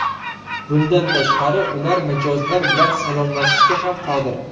Bundan tashqari, ular mijozlar bilan salomlashishga ham qodir.